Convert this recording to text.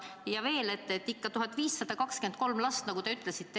Ja veel, ikkagi need 1523 last, nagu te ütlesite.